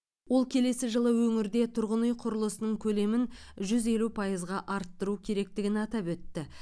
ол келесі жылы өңірде тұрғын үй құрылысының көлемін жүз елу пайызға арттыру керектігін атап өтті